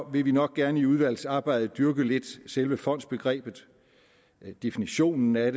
vil vi nok gerne i udvalgsarbejdet dyrke selve fondsbegrebet lidt definitionen af